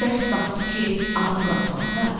Dərs vaxtı ki, adam buraxmazdılar.